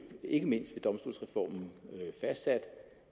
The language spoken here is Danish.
ikke mindst ved domstolsreformen fastsat